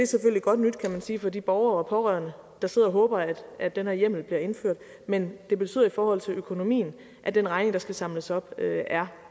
selvfølgelig godt nyt kan man sige for de borgere og pårørende der sidder og håber at at den her hjemmel bliver indført men det betyder i forhold til økonomien at den regning der skal samles op er